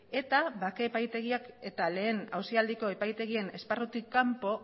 eta bake epaitegiak eta lehen auzialdiko epaitegien esparrutik kanpo